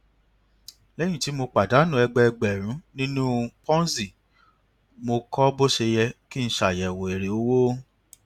léyìn tí mo pàdánù ẹgbẹẹgbèrún nínú ponzi mo kọ bó ṣe yẹ kí n ṣàyẹwò èrè owó